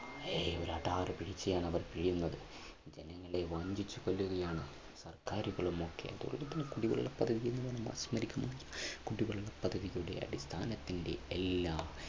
ഏയ് ഒരു അഡാറ് പിഴിച്ചിലാണ് അവർ പിഴിയുന്നത്. ജനങ്ങളെ വഞ്ചിച്ചു കൊല്ലുകയാണ് സർക്കാരുകളും ഒക്കെ കുടിവെള്ള പദ്ധതി കുടിവെള്ള പദ്ധതിയുടെ അടിസ്ഥാനത്തിന്റെ എല്ലാം